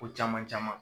Ko caman caman